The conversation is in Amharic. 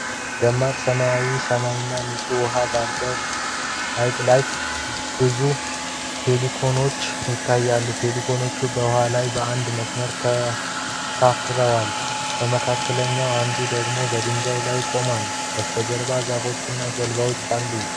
ደማቅ ሰማያዊ ሰማይና ንጹሕ ውሃ ባለበት ሐይቅ ላይ ብዙ ፔሊካኖች ይታያሉ። ፔሊካኖቹ በውሃው ላይ በአንድ መስመር ተንሳፍፈዋል፣ ከመካከላቸው አንዱ ደግሞ በድንጋይ ላይ ቆሟል። በስተጀርባ ዛፎች እና ጀልባዎች አሉ።